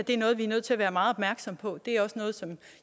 er noget vi er nødt til at være meget opmærksomme på det er også noget